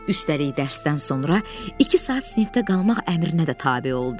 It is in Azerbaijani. Üstəlik dərsdən sonra iki saat sinifdə qalmaq əmrinə də tabe oldu.